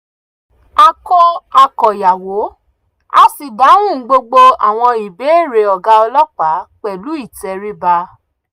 ó pe ọ̀rẹ́ rẹ̀ kan láti dúró lórí ẹ̀rọ ìbánisọ̀rọ̀ bí ó ṣe ń tẹ̀síwájú bá ọ̀gá ọlọ́pàá sọ̀rọ̀